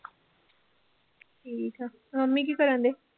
ਠੀਕ ਆ, ਮੰਮੀ ਕੀ ਕਰਨਡੇ?